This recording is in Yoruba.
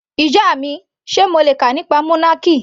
Ìyá mi, Sé mo le kà nípa monarchy?.